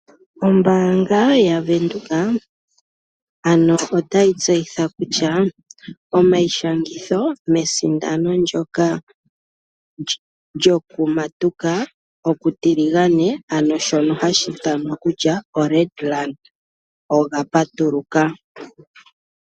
Ombaanga yaVenduka ano otayi tseyitha kutya omayishangitho mesindano ndoka lyokumatika okutiligane ano shono hashi ithanwa kutya oRed Run oga patuluka.